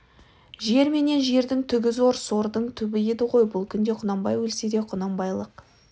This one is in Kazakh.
жер менен жердің түгі зор сордың түбі еді ғой бұл күнде құнанбай өлсе де құнанбайлық